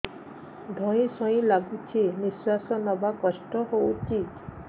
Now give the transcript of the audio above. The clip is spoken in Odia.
ଧଇଁ ସଇଁ ଲାଗୁଛି ନିଃଶ୍ୱାସ ନବା କଷ୍ଟ ହଉଚି